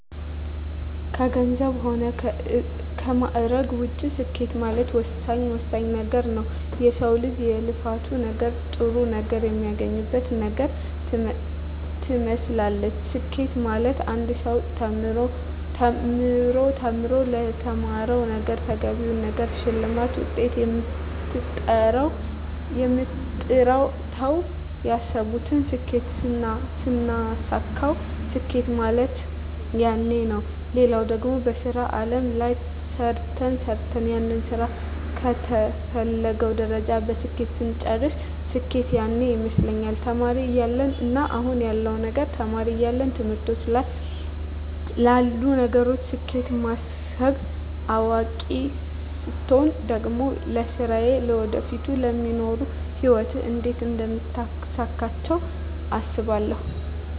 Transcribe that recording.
ከገንዘብ ሆነ ከማእረግ ውጭ ስኬት ማለት ወሳኝ ወሳኝ ነገረ ነዉ የሰው ልጅ የልፋት ነገር ጥሩ ነገር የሚያገኝበት ነገር ትመስላለች ስኬት ማለት አንድ ሰው ተምሮ ተምሮ ለተማረዉ ነገረ ተገቢውን ነገር ሸልማት ውጤት አምጥተው ያሰብቱን ስኬት ስናሳካዉ ስኬት ማለት ያነ ነዉ ሌላው ደግሞ በሥራ አለም ላይ ሰርተ ሰርተን ያንን ስራ ከተፈለገዉ ደረጃ በስኬት ስንጨርስ ስኬት ያነ ይመስለኛል ተማሪ እያለው እና አሁን ያለዉ ነገር ተማሪ እያለው ትምህርቶች ላይ ላሉ ነገሮች ስኬት ማስብ አዋቂ ስቾን ደግሞ ለስራየ ለወደፊቱ ለሚኖሩ ህይወት እንዴት አደምታሳካቸው አስባለሁ